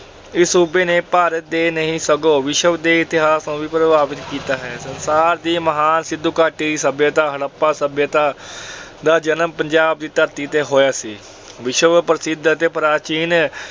ਇਸ ਸੂਬੇ ਨੇ ਭਾਰਤ ਦੇ ਹੀ ਨਹੀਂ ਸਗੋਂ ਵਿਸ਼ਵ ਦੇ ਇਤਿਹਾਸ ਨੂੰ ਵੀ ਪ੍ਰਭਾਵਿਤ ਕੀਤਾ ਹੈ। ਭਾਰਤ ਦੀ ਮਹਾਨ ਸਿੰਧੂ ਘਾਟੀ ਦੀ ਸੱਭਿਅਤਾ ਹੜੱਪਾ ਸੱਭਿਅਤਾ ਦਾ ਜਨਮ ਪੰਜਾਬ ਦੀ ਧਰਤੀ ਤੇ ਹੋਇਆ ਸੀ। ਵਿਸ਼ਵ ਪ੍ਰਸਿੱਧ ਅਤੇ ਪ੍ਰਾਚੀਨ